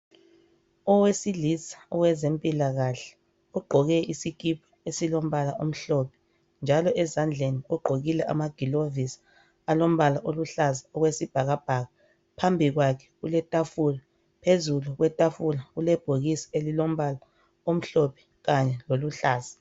owesilisa owezempilakahle ugqoke isikipa esilombala omhlophe njalo ezandleni ugqokile ama gilovisi alombala oluhlaza okwesibhakabhaka phambili kwakhe kuletafula phezulu kwetafula kulebhokisi elilombala omhlophe kanye loluhlaza